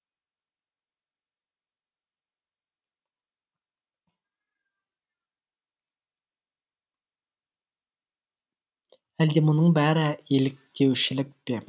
әлде мұның бәрі еліктеушілік пе